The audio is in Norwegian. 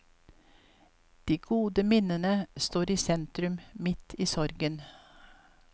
De gode minnene står i sentrum midt i sorgen.